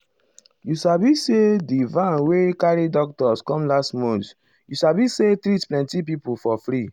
you sabi say di van wey carry doctors come last month you sabi say treat plenty people for free.